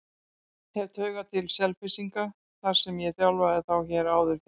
Hef taugar til Selfyssinga þar sem ég þjálfaði þá hér áður fyrr.